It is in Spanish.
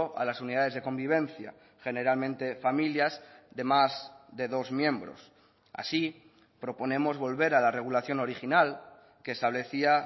a las unidades de convivencia generalmente familias de más de dos miembros así proponemos volver a la regulación original que establecía